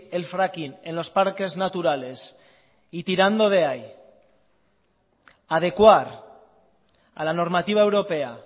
el fracking en los parques naturales y tirando de ahí adecuar a la normativa europea